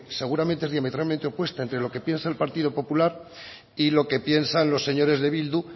seguramente es diametralmente opuesta entre lo que piensa el partido popular y lo que piensan los señores de bildu